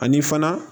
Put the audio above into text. Ani fana